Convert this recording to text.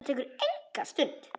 Það tekur enga stund.